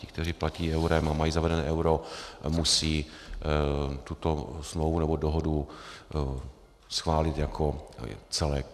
Ti, kteří platí eurem a mají zavedeno euro, musí tuto smlouvu nebo dohodu schválit jako celek.